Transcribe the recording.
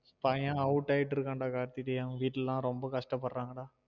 பையன் out ஆயிட்டு இருக்கான் டா கார்த்தி டேய் அவங்க வீட்டுல ல லாம் ரொம்ப கச்டபடுரங்கடா